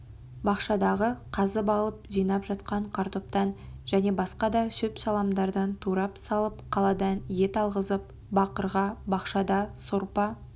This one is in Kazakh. бақшадағы қазып алып жинап жатқан картоптан және басқа да шөп-шаламдардан турап салып қаладан ет алғызып бақырға бақшада сорпа